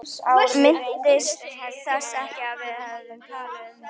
Minntist þess ekki að við hefðum talað um það.